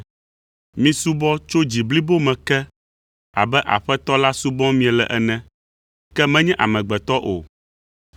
Misubɔ tso dzi blibo me ke abe Aƒetɔ la subɔm miele ene, ke menye amegbetɔ o,